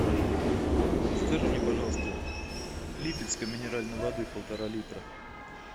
закажи мне пожалуйста липецкой минеральной воды полтора литра